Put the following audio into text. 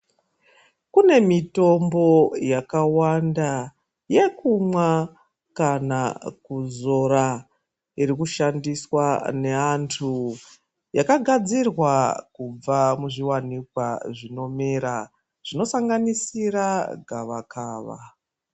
Kune mitombo yakawanda yekumwa kana kuzora irikushandiswa neantu yakagadzirwa kubva muzviwanikwa zvinomera zvinosanganisira gavakava.